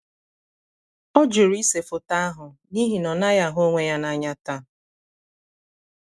ọ jụrụ ise foto ahụ n’ihi na ọ naghị ahụ onwe ya n’anya taa.